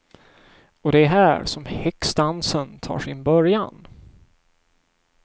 Och det är här som häxdansen tar sin början.